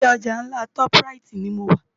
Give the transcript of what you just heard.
Ilé òjá nlá tòp ráyit ni mó nlò